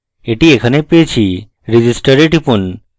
এটি এখানে পেয়েছি register we টিপুন